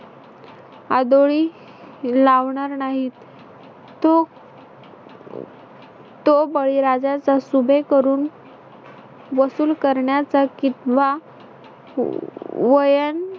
आदोळी लावणार नाही. तो तो बळीराजाचा सुभे करून वसूल करण्याचा कितवा वयं